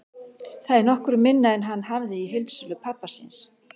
Það er nokkru minna en hann hafði í heildsölu pabba síns.